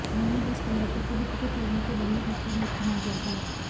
उन्होंने bus conductor को भी टिकट लेने के बदले नकली नोट थमा दिया था